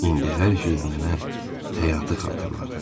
İndi hər şey mənə həyatı xatırladır.